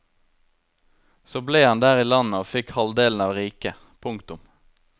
Så ble han der i landet og fikk halvdelen av riket. punktum